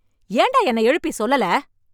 ஏண்டா என்னை எழுப்பி சொல்லல..